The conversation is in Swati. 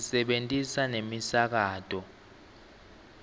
sisebentisa nemisakato